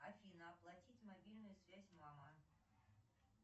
афина оплатить мобильную связь мама